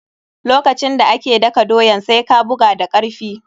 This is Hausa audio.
Lokacin da ake daka doyan, sai ka buga da karfi.